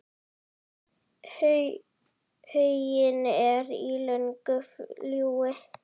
Huginn er í löngu flugi.